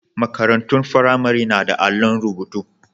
Marantun firamare na da allon rubutu.